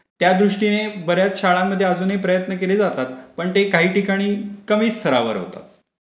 त्यादृष्टीने बर् याच शाळांमध्ये प्रयत्न केले जातात. पण ते काही ठिकाणी कमी स्तरावर होतात.